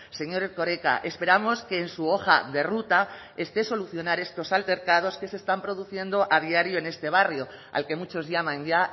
señor erkoreka esperamos que en su hoja de ruta esté solucionar estos altercados que se están produciendo a diario en este barrio al que muchos llaman ya